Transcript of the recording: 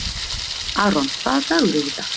Aaron, hvaða dagur er í dag?